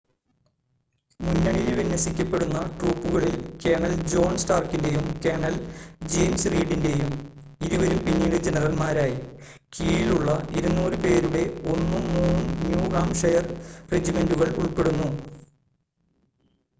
മുന്നണിയിൽ വിന്യസിക്കപ്പെടുന്ന ട്രൂപ്പുകളിൽ കേണൽ ജോൺ സ്റ്റാർക്കിന്റെയും കേണൽ ജെയിംസ് റീഡിന്റെയും ഇരുവരും പിന്നീട് ജനറൽമാരായി കീഴിലുള്ള 200 പേരുടെ ഒന്നും മൂന്നും ന്യൂ ഹാംഷെയർ റെജിമെന്റുകൾ ഉൾപ്പെടുന്നു